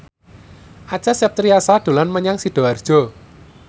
Acha Septriasa dolan menyang Sidoarjo